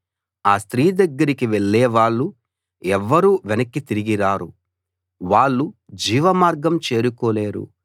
ఆ స్త్రీ దగ్గరికి వెళ్ళేవాళ్ళు ఎవ్వరూ వెనక్కి తిరిగిరారు వాళ్ళు జీవమార్గం చేరుకోలేరు